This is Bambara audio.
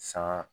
San